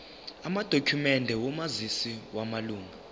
amadokhumende omazisi wamalunga